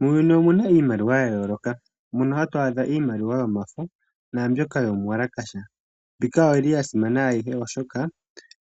Muuyuni omu na iimaliwa ya yooloka. Mono ha tu adha iimaliwa yomafo, naambyoka yomuwalakasha. Mbika oui li ya simana ayihe, oshoka